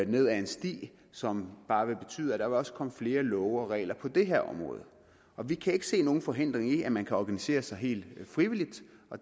ned ad en sti som bare vil betyde at der også vil komme flere love og regler på det her område vi kan ikke se nogen forhindring i at man kan organisere sig helt frivilligt